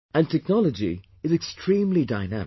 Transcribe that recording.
And technology is extremely dynamic